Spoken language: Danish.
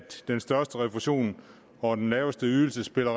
den største refusion og den laveste ydelse spiller